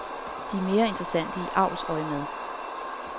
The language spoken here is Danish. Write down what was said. De er mere interessante i avlsøjemed.